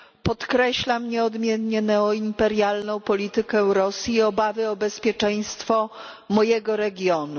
Podkreślam nieodmiennie neoimperialną politykę Rosji i obawy o bezpieczeństwo mojego regionu.